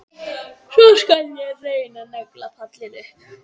Ég skal svo reyna að negla pallinn upp.